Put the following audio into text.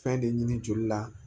Fɛn de ɲini joli la